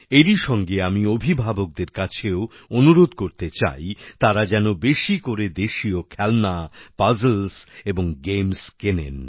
এরই সঙ্গে আমি অভিভাবকদের কাছেও অনুরোধ করতে চাই তারা যেন বেশি করে দেশীয় খেলনা পাজলস এবং গেমস কেনেন